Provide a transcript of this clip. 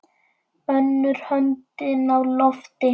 Önnur höndin á lofti.